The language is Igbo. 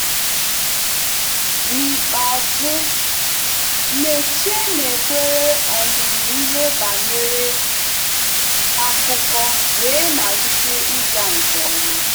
N'ikpeazụ, Meche nakweere ọmụmụ ihe banyere akụkọ wee malite ịga nke ọma.